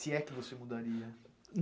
Se é que você mudaria?